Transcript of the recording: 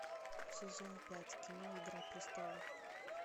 сезон пять кино игра престолов